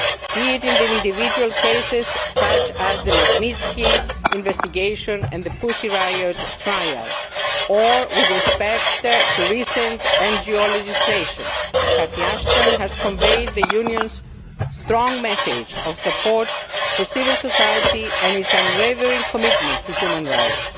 Be it in individual cases such as the Magnitsky investigation and the Pussy Riot' trial or with respect to recent NGO legislation, Catherine Ashton has conveyed the Union's strong message of support for civil society and its unwavering commitment to human rights.